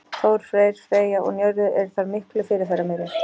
Þór, Freyr, Freyja og Njörður eru þar miklu fyrirferðarmeiri.